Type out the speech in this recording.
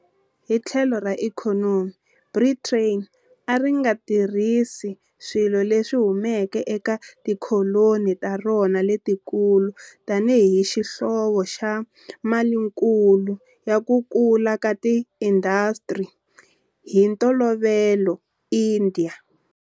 Hi tlhelo ra ikhonomi, Britain a ri nga tirhisa swilo leswi humaka eka tikoloni ta rona letikulu tanihi xihlovo xa malinkulu ya ku kula ka tiindasitiri, hi ntolovelo India.